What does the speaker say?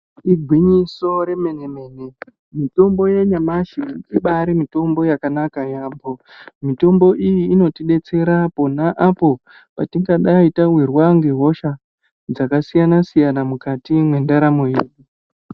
Igwinyiso remene mene mitombo yenyamashi ibari mitombo yakanaka yaamho mitombo iyi inotidetsera aponapo patingadai tawirwa ngehosha dzakasiyana siyana mukati mwendaramo yedu